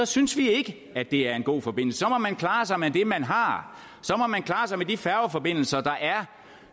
synes vi ikke at det er en god forbindelse så må man klare sig med det man har så må man klare sig med de færgeforbindelser der er